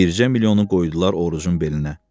Bircə milyonu qoydular Orucun belinə.